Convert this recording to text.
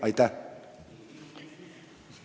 Aitäh!